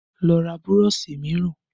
Lọ ra burọ̀ṣì mìíràn!